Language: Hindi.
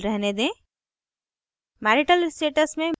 gender में male रहने दें